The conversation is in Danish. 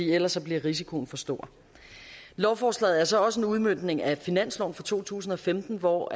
ellers bliver risikoen for stor lovforslaget er så også en udmøntning af finansloven for to tusind og femten hvor